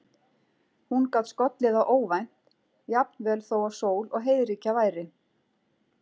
Hún gat skollið á óvænt, jafnvel þó að sól og heiðríkja væri.